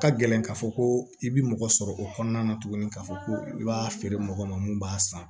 Ka gɛlɛn k'a fɔ ko i bi mɔgɔ sɔrɔ o kɔnɔna na tuguni k'a fɔ ko i b'a feere mɔgɔ ma mun b'a san